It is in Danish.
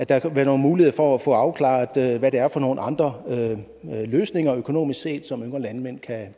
der kan være nogle muligheder for at få afklaret hvad det er for nogle andre løsninger økonomisk set som yngre landmænd kan